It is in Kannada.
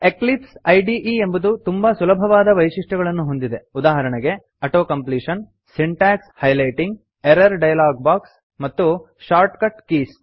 ಎಕ್ಲಿಪ್ಸ್ ಇದೆ ಎಂಬುದು ತುಂಬಾ ಸುಲಭವಾದ ವೈಶಿಷ್ಟ್ಯಗಳನ್ನು ಹೊಂದಿದೆ ಉದಾಹರಣೆಗೆ auto completion syntax highlighting error dialog box ಮತ್ತು ಶಾರ್ಟ್ಕಟ್ ಕೀಸ್